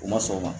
U ma sɔn o ma